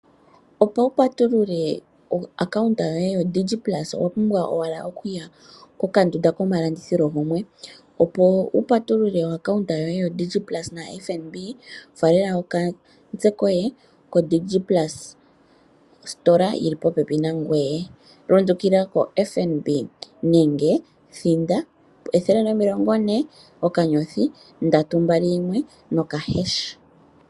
Opo wu patulule oaccounta yoye yodigi plusa, owa pumbwa owala oku ya kokandunda komalandithilo opo wu patulule oaccounta yoye yodigi plusa naFNB ,faalela okatse koye kodigit plusa kositola yili popepi nangoye. Lundukila koFNB nenge thinda 140 okanyothi ndatu mbali yimwe noka hesh' .